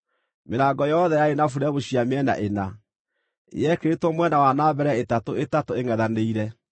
Mĩrango yothe yarĩ na buremu cia mĩena ĩna; yekĩrĩtwo mwena wa na mbere ĩtatũ ĩtatũ, ĩngʼethanĩire.